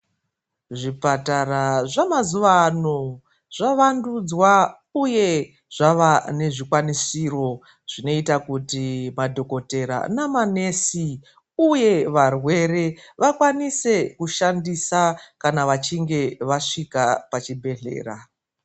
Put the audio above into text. Zvipatara zvamazuva ano zvavandudzwa uye zvava nezvikwanisiro zvinoita kuti madhokotera namanesi uye varwere vakwanise kushandisa kana vachinge vasvika pachibhedhlera.